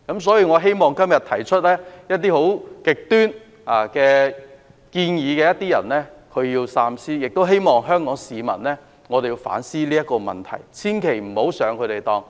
所以，我希望今天提出極端建議的議員要三思，也希望香港市民反思這個問題，千萬不要上他們的當。